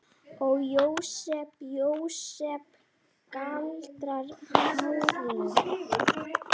Ó, Jósep, Jósep, galar Árný.